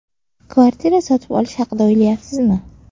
Kvartira sotib olish haqida o‘ylayapsizmi?